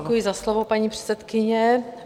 Děkuji za slovo, paní předsedkyně.